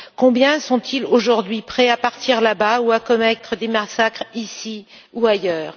Combien sont ils aujourd'hui prêts à partir là bas ou à commettre des massacres, ici ou ailleurs?